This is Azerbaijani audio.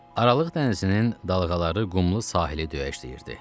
Aralıq dənizinin dalğaları qumlu sahili döyəcləyirdi.